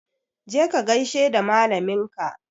Je ka gaishe da malamin ka!